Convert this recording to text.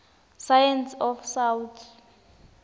science of south